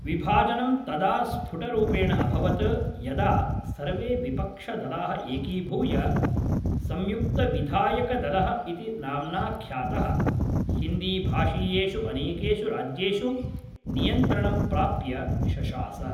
विभाजनं तदा स्फुटरूपेण अभवत् यदा सर्वे विपक्षदलाः एकीभूय सम्युक्तविधायकदलः इति नाम्ना ख्यातः, हिन्दीभाषीयेषु अनेकेषु राज्येषु नियन्त्रणं प्राप्य शशास।